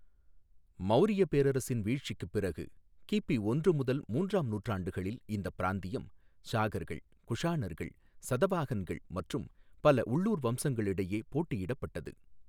மௌரியப் பேரரசின் வீழ்ச்சிக்குப் பிறகு, கிபி ஒன்று முதல் மூன்றாம் நூற்றாண்டுகளில் இந்த பிராந்தியம் சாகர்கள், குஷாணர்கள், சதவாஹன்கள் மற்றும் பல உள்ளூர் வம்சங்களிடையே போட்டியிடப்பட்டது .